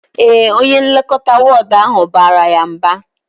Ee, onye nlekọta wọọdụ ahụ bara ya mba